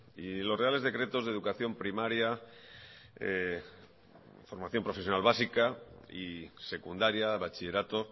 y los reales decretos de educación primaria formación profesional básica y secundaria bachillerato